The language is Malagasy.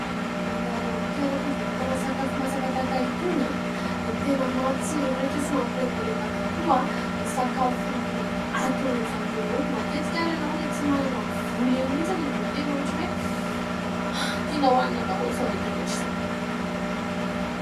Mandalo eo amin'ny toeram-pivarotana sakafo masaka tahaka itony dia tena mampitsiriritra sy mampilendalenda avokoa ny sakafo atolon'izy ireo eo. Matetika ary, ianao ilay tsy manana vola iny mihitsy no, vao tena ohatran'ny hoe, tianao hohanina daholo izao rehetra rehetra izao